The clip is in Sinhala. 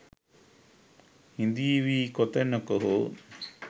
”හිඳීවි කොතැනක හෝ